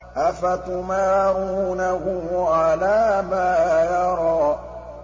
أَفَتُمَارُونَهُ عَلَىٰ مَا يَرَىٰ